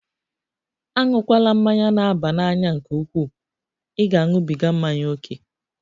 Aṅụkwala mmanya na-aba n'anya nke ukwuu! Ị ga-aṅụbiga mmanya ókè.